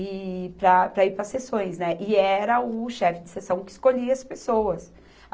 E para, para ir para as seções, né, e era o chefe de seção que escolhia as pessoas.